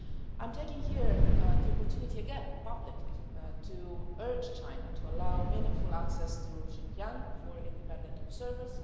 I'm taking here the opportunity again, publicly, to urge China to allow meaningful access to Xinjiang for independent observers.